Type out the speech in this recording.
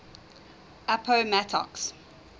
appomattox